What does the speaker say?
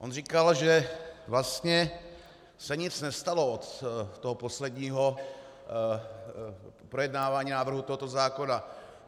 On říkal, že vlastně se nic nestalo z toho posledního projednávání návrhu tohoto zákona.